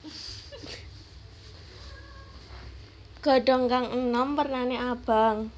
Godhong kang enom wernane abang